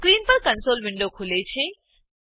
screen પર console window ખુલે છે